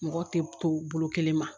Mɔgɔ tɛ to bolo kelen ma